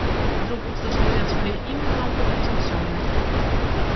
вдруг услышал я своё имя громко произнесённое